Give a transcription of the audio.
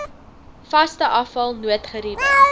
vaste afval noodgeriewe